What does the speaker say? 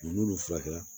N'olu furakɛla